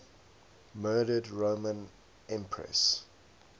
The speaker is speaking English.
murdered roman empresses